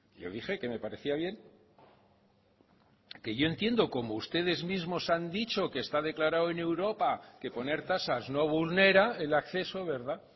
yo dije que me parecía bien que yo entiendo como ustedes mismos han dicho que está declarado en europa que poner tasas no vulnera el acceso verdad